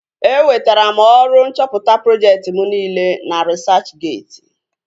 E wetara m ọrụ nchọpụta projekti mụ niile na risachgeeti